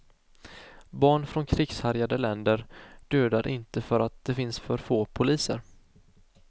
Barn från krigshärjade länder dödar inte för att det finns för få poliser.